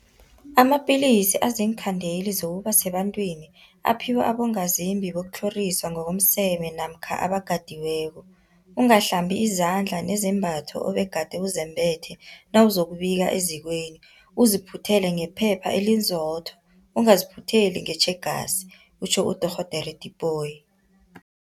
Amapilisi aziinkhandeli zokuba sebantwini aphiwa abongazimbi bokutlhoriswa ngokomseme namkha abakatiweko. Ungahlambi izandla nezembatho obegade uzembethe nawuzokubika ezikweni, uziphuthele ngephepha elinzotho, ungaziphutheli ngetjhegasi kutjho uDorh Tipoy.